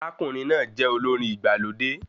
Arákùnrin náà jẹ olórin igbalode